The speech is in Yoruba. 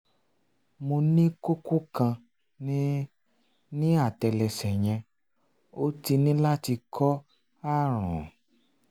mo ní kókó kan ní ní àtẹ́lẹsẹ̀ yẹn ó ti ní láti kó ààrùn